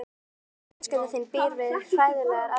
Andri Ólafsson: Fjölskylda þín býr við hræðilegar aðstæður?